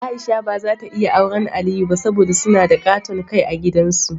Aisha ba zata iya awren Aliyu ba, saboda suna da ƙaton Kai a gidan su.